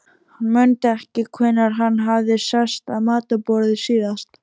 Hann mundi ekki hvenær hann hafði sest að matarborði síðast.